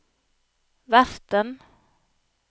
verten